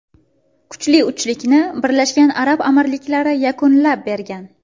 Kuchli uchlikni Birlashgan Arab Amirliklari yakunlab bergan.